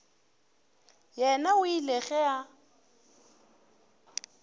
yena o ile ge a